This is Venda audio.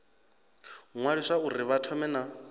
ṅwaliswa uri vha thome na